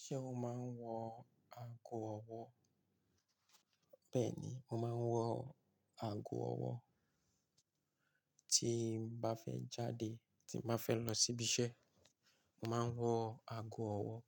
Ṣé o máa ń wọ ago ọwọ́? Bẹ́ẹ̀ ni, mo máa ń wọ ago ọwọ́. Tí mo bá fẹ́ jáde, tí mo bá fẹ́ lọ síbi iṣẹ́, mo máa ń wọ ago ọwọ́.